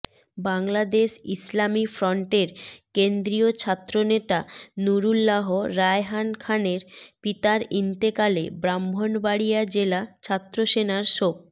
বাংলাদেশ ইসলামী ফ্রন্টের কেন্দ্রীয় ছাত্রনেতা নুরুল্লাহ রায়হান খানের পিতার ইন্তেকালে ব্রাহ্মণবাড়িয়া জেলা ছাত্রসেনার শোক